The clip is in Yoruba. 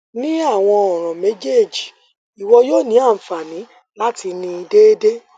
ni awọn ọran mejeeji iwọ yoo ni anfani lati ni deede